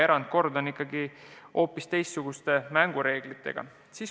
Erandolukorras on ikkagi hoopis teistsugused mängureeglid.